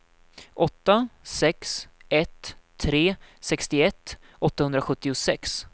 åtta sex ett tre sextioett åttahundrasjuttiosex